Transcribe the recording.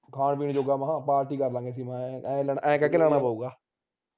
ਖਾਣ ਪੀਣ ਜੋਗਾ ਮੈਂਹ party ਕਰ ਲਾਂਗੇ ਐ ਲੈਣਾ ਐ ਕਹਿ ਕੇ ਲੈਣਾ ਪਊਗਾ